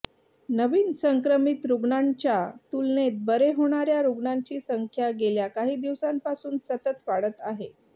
नवीन संक्रमित रूग्णांच्या तुलनेत बरे होणार्या रुग्णांची संख्या गेल्या काही दिवसांपासून सतत वाढत आहे